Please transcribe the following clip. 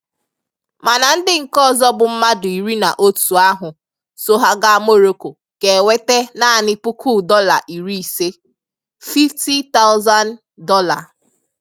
Mana ndị nke ọzọ bụ mmadụ iri na otu ahụ so ha gaa Moroko ga-enweta naanị puku dọla iri ise ($50,000).